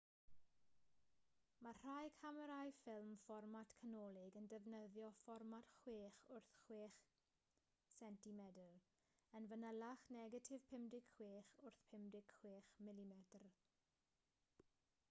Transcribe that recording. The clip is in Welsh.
mae rhai camerâu ffilm fformat canolig yn defnyddio fformat 6 wrth 6 cm yn fanylach negatif 56 wrth 56 mm